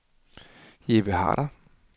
Jeppe Harder